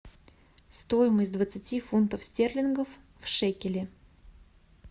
стоимость двадцати фунтов стерлингов в шекеле